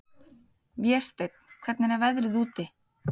Vésteinn, hvernig er veðrið úti?